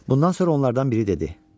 Bundan sonra onlardan biri dedi: